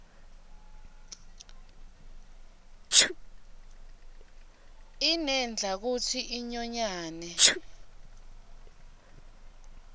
inedlac kutsi inyonyane